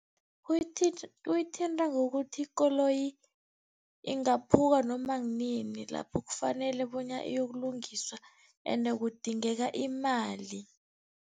kuyithinta ngokuthi ikoloyi ingaphuka noma kunini, lapho kufanele bona iyokulungiswa ende kudingeka imali.